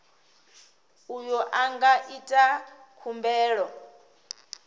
uyo a nga ita khumbelo